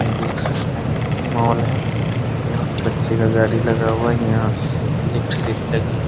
ये देख सकते हैं मॉल है । यहाँ पे बच्चे का गाड़ी लगा हुआ है | यहाँ एक सीढ़ी लगी है ।